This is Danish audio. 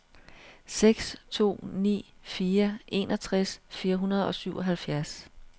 seks to ni fire enogtres fire hundrede og syvoghalvfjerds